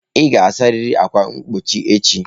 Ị ga-asarịrị ákwà mgbochi echi.